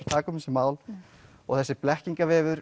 taka upp þessi mál og þessi